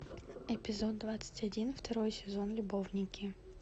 эпизод двадцать один второй сезон любовники